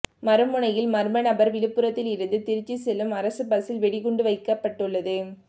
மறுமுனையில் மர்மநபர் விழுப்புரத்தில் இருந்து திருச்சி செல்லும் அரசு பஸ்சில் வெடிகுண்டு வைக்கப்பட்டுள்ளது